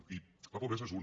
eh i la pobresa és una